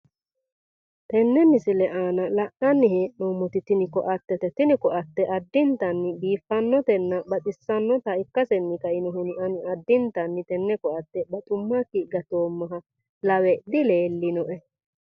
Tenne misile aana la'nanni hee'noommoti tini koattete. Tini koatte addintanni biiffannotenna baxissannota ikkasenni kainohunni ani addintanni tenne koatte baxummakki gatoommaha lawe dileellinoe.